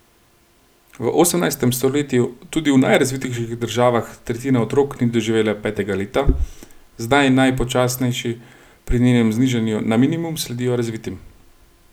V osemnajstem stoletju tudi v najrazvitejših državah tretjina otrok ni doživela petega leta, zdaj najpočasnejši pri njenem znižanju na minimum sledijo razvitim.